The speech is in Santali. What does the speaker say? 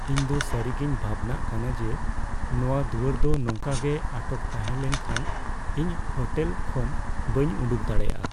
ᱤᱧ ᱫᱚ ᱥᱟᱹᱨᱤᱜᱮᱧ ᱵᱷᱟᱵᱽᱱᱟᱜ ᱠᱟᱱᱟ ᱡᱮ ᱱᱚᱣᱟ ᱫᱩᱣᱟᱹᱨ ᱫᱚ ᱱᱚᱝᱠᱟ ᱜᱮ ᱟᱴᱚᱠ ᱛᱟᱦᱮᱸ ᱞᱮᱱᱠᱷᱟᱱ ᱤᱧ ᱦᱳᱴᱮᱞ ᱠᱷᱚᱱ ᱵᱟᱹᱧ ᱩᱰᱩᱠ ᱫᱟᱲᱮᱭᱟᱜᱼᱟ ᱾